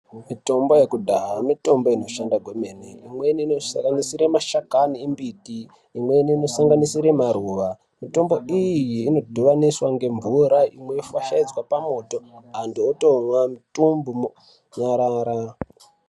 Mitombo yekudhaya mitombo inoshanda kwemene imweni inosanganisira mashakani embiti, imweni inosanganisire maruwa, mitombo iyi inodhivaniswa ngemvura, imwe yofashaidzwa pamoto antu otomwa mutumbu monyarara.